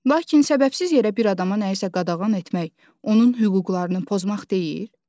Lakin səbəbsiz yerə bir adama nəyisə qadağan etmək, onun hüquqlarını pozmaq deyil?